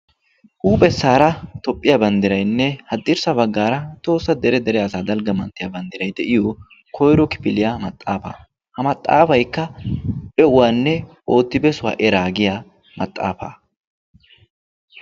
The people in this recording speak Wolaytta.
Huuphessaara toophphiya bandiraynne haddirssa baggaara tohoossa dere dere asaa dalgga manttiya banddirayi de"iyo koyro kifiliya maxaafaa. Ha maxaafaykka be"uwanne oottibesuwa eraa giya maxaafaa.